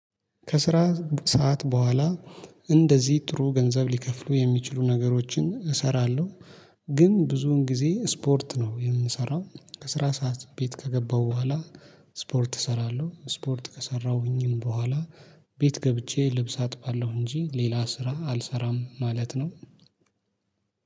ከስራ ሰዓት በኋላ እንደዚህ ጥሩ ገንዘብ ሊከፍሉ የሚችሉ ነገሮችን እሰራለሁ። ግን ብዙውን ጊዜ ስፖርት ነው የምሰራው። ከስራ ሰዓት ቤት ከገባው በኋላ ስፖርት እሰራለሁ። ስፖርት ከሰራሁኝም በኋላ ቤት ገብቼ ልብስ አጥባለሁ እንጂ ሌላ ስራ አልሰራም ማለት ነው።